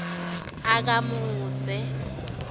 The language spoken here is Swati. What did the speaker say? akamudze